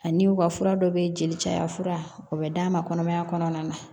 Ani u ka fura dɔ bɛ jeli caya fura o bɛ d'a ma kɔnɔmaya kɔnɔna na